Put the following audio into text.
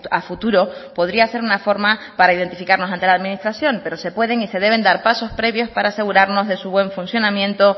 a futuro podría ser una forma para identificarnos ante la administración pero se pueden y se deben dar pasos previos para asegurarnos de su buen funcionamiento